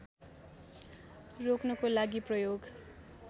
रोक्नको लागि प्रयोग